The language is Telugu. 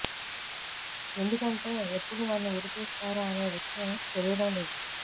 ఎందుకంటే ఎప్పుడు నన్ను ఉరి తీస్తారు అనే విషయం తెలియడం లేదు